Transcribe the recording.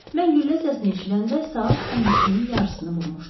Mən güllə səsini eşidəndə saat 10-2-nin yarısını vururdu.